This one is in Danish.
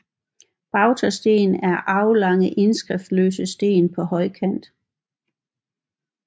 Bautasten er aflange indskriftløse sten på højkant